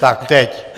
Tak teď.